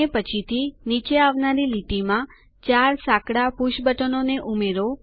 અને પછીથી નીચે આવનારી લીટીમાં ૪ સાંકડા પુષ બટનોને ઉમેરો